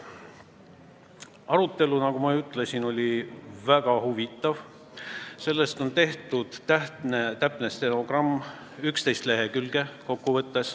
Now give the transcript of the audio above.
Arutelu, nagu ma ütlesin, oli väga huvitav, sellest on tehtud täpne stenogramm, 11 lehekülge.